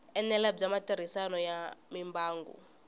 enela bya matirhiselo ya mimbangu